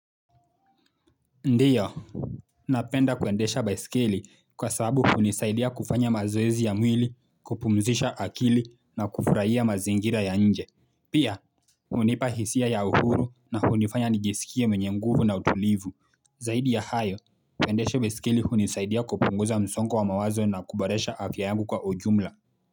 Ndiyo Napenda kuendesha baiskeli kwa sababu hunisaidia kufanya mazoezi ya mwili kupumzisha akili na kufurahia mazingira ya nje Pia hunipa hisia ya uhuru na kunifanya nijisikie mwenye mguvu na utulivu Zaidi ya hayo, kuendesha baiskeli hunisaidia kupunguza msongo wa mawazo na kuboresha afya yangu kwa ujumla.